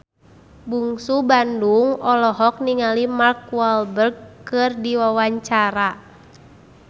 Bungsu Bandung olohok ningali Mark Walberg keur diwawancara